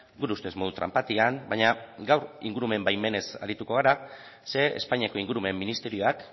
gure ustez modu tranpatian baina gaur ingurumen baimenez arituko gara ze espainiako ingurumen ministerioak